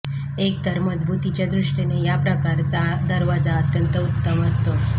एक तर मजबुतीच्या दृष्टीने या प्रकारचा दरवाजा अत्यंत उत्तम असतो